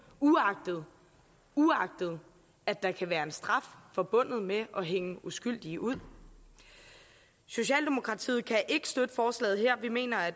uagtet uagtet at der kan være straf forbundet med at hænge uskyldige ud socialdemokratiet kan ikke støtte forslaget her vi mener at